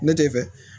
Ne tɛ fɛ